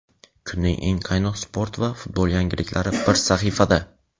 Kunning eng qaynoq sport va futbol yangiliklari bir sahifada:.